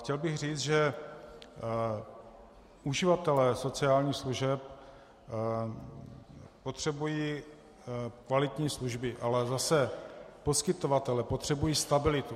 Chtěl bych říct, že uživatelé sociálních služeb potřebují kvalitní služby, ale zase poskytovatelé potřebují stabilitu.